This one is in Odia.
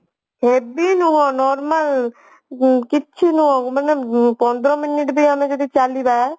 heavy ନୁହଁ normal ଉଁ କିଛି ନୁହଁ ମାନେ ପନ୍ଦର minute ବି ଆମେ ଯଦି ଚାଲିବା